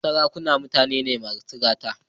Sarakunan mutane ne masu gata.